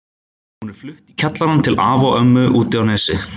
Hún er flutt í kjallarann til afa og ömmu úti á Nesi.